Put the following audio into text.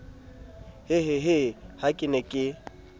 hehehe ha ke ne ke